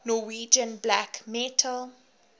norwegian black metal